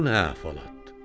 Bu nə əhvalatdır?